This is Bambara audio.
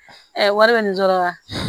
wari bɛ nin dɔrɔn la